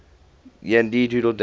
yankee doodle dandy